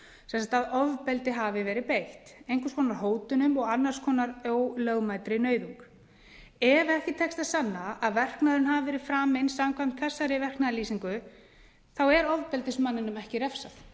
sem sagt að ofbeldi hafi verið beitt einhvers konar hótunum og annars konar ólögmætri nauðung ef ekki tekst að sanna að verknaðurinn hafi verið framinn samkvæmt þessari verknaðarlýsingu er ofbeldismanninum ekki refsað